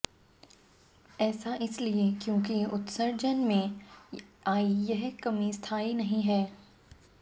ऐसा इसलिये क्यों कि उत्सर्जन में आयी यह कमी स्थायी नहीं है